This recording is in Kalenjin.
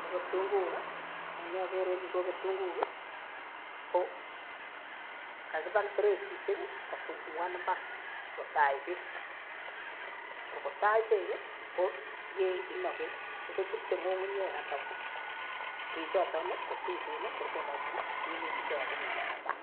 Ko ketunguik ko amun chokere en yuu ko ketunguik ko kakibal bereisishek kosungukan imbar sikotach beek, ko ngotach beek ko yeinoki beek kor kochute ngungunyek alaan bechoton kotuten kor konoki minutik chekakimin en mbar